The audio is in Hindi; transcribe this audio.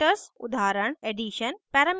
constructors उदाहरण addition